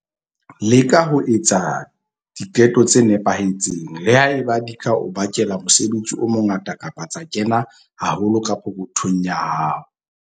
Leka ho etsa diqeto tse nepahetseng, le ha eba di ka o bakela mosebetsi o mongata kapa tsa kena haholo ka pokothong ya hao.